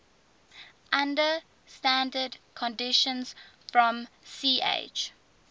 under standard conditions from ch